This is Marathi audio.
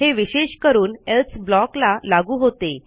हे विशेष करून एल्से blockला लागू होते